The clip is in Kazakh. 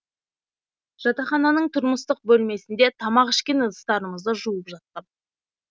жатақхананың тұрмыстық бөлмесінде тамақ ішкен ыдыстарымызды жуып жатқам